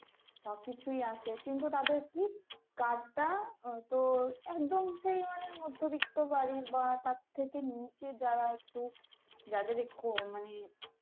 সবকিছুই আছে কিন্তু তাদের কি card টা তোর একদম সেই মানের মধ্যবিত্ত বাড়ির বা তার থেকে নিচে যারা একটু যাদের মানে